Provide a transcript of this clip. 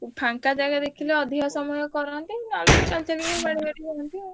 ଫାଙ୍କା ଜାଗା ଦେଖିଲେ ଅଧିକ ସମୟ କରନ୍ତି ନହେଲେ ଚାଲିଚାଲି ହୁଅନ୍ତି ଆଉ।